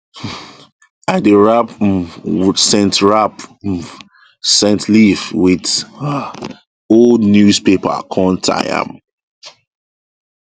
um i dey wrap um scent wrap um scent leaf with um old newspaper com tie am